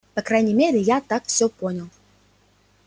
по крайней мере я так всё понял